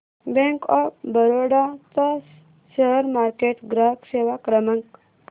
bank of Baroda चा share market ग्राहक सेवा क्रमांक